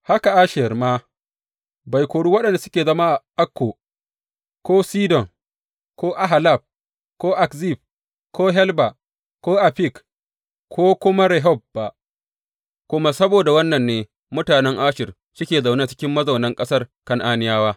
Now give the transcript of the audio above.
Haka Asher ma bai kori waɗanda suke zama a Akko ko Sidon ko Ahlab ko Akzib ko Helba ko Afik ko kuma Rehob ba, kuma saboda wannan ne mutanen Asher suke zaune cikin mazaunan ƙasar Kan’aniyawa.